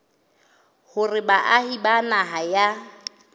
hore baahi ba naha ya